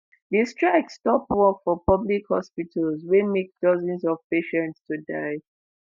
di strike stop work for public hospitals wey make dozens of patients to die.